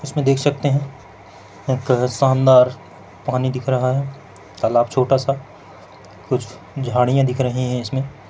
देख सकते है एक शानदार पानी दिख रहा है तालाब छोटा सा कुछ झाडिया दिख रही है इसमें--